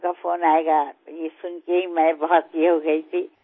আপনার ফোন আসবে এটা শুনেই আমি অত্যন্ত আপ্লুত হয়েছিলাম